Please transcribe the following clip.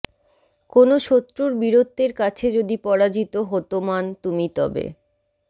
কোনো শত্রুর বীরত্বের কাছে যদি পরাজিত হতমান তুমি তবে